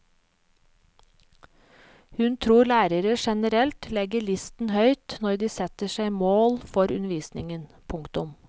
Hun tror lærere generelt legger listen høyt når de setter seg mål for undervisningen. punktum